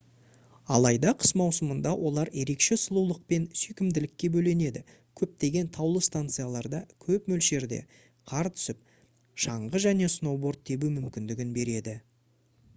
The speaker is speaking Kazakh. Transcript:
алайда қыс маусымында олар ерекше сұлулық пен сүйкімділікке бөленеді көптеген таулы станцияларда көп мөлшерде қар түсіп шаңғы және сноуборд тебу мүмкіндігін береді